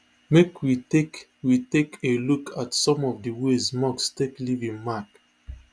make we take we take a look at some of di ways musk take leave im mark